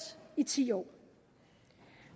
i ti år